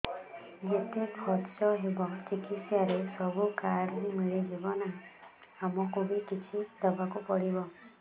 ଯେତେ ଖର୍ଚ ହେବ ଚିକିତ୍ସା ରେ ସବୁ କାର୍ଡ ରେ ମିଳିଯିବ ନା ଆମକୁ ବି କିଛି ଦବାକୁ ପଡିବ